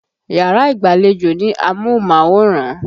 Yàrá ìgbàlejò ní amóhùnmáwòran.